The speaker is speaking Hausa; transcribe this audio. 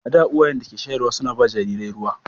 A da, uwayen da ke shayarwa suna ba jarirai ruwa.